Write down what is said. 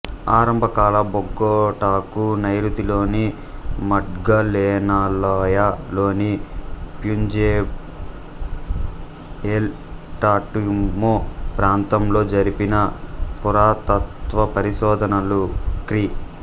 ఆరంభకాల బొగొటాకు నైరుతిలోని మగ్డలెనాలోయ లోని ప్యుబెంజా ఎల్ టాటుమొ ప్రాంతంలో జరిపిన పురాతత్వపరిశోధనలు క్రీ